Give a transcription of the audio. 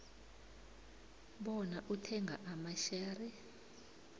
bona uthenga amashare